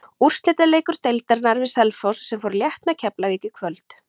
Úrslitaleikur deildarinnar við Selfoss sem fór létt með Keflavík í kvöld.